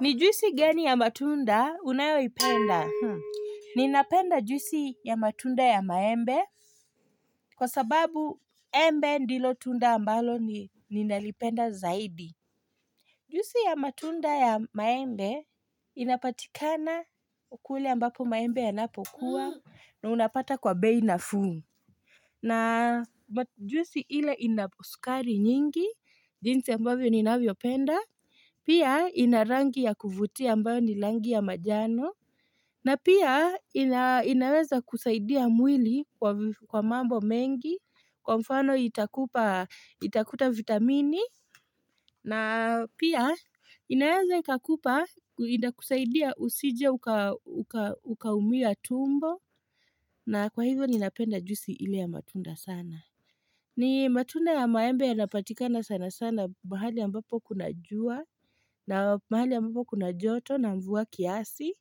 Ni juisi gani ya matunda unayoi penda. Ninapenda juisi ya matunda ya maembe kwa sababu embe ndilo tunda ambalo ninalipenda zaidi. Juisi ya matunda ya maembe inapatikana kule ambapo maembe yanapokuwa na unapata kwa bei nafuu. Na juisi ile inaposukari nyingi, jinsi ambavyo ninavyopenda, pia ina rangi ya kuvutia ambayo ni langi ya majano, na pia inaweza kusaidia mwili kwa mambo mengi, kwa mfano itakuta vitamini, na pia, inaweza ikakupa, ina kusaidia usije ukaumia tumbo, na kwa hivyo ninapenda juisi ile ya matunda sana. Ni matunda ya maembe yanapatikana sana sana mahali ambapo kuna jua, na mahali ambapo kuna joto, na mvua kiasi,